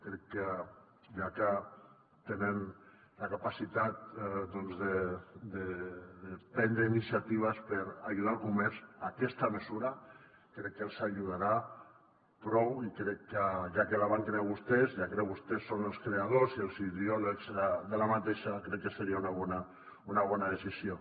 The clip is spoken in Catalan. crec que ja que tenen la capacitat de prendre iniciatives per ajudar el comerç aquesta mesura crec que els ajudarà prou i crec que ja que la van crear vostès ja que vostès en són els creadors i els ideòlegs crec que seria una bona decisió